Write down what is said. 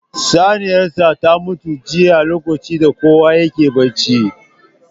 Saniyar sa ta mutu jiya lokacin da kowa yake bacci